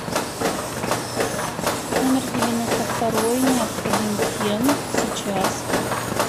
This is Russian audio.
номер девяносто второй необходим фен сейчас